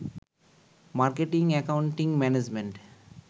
marketing, accounting, management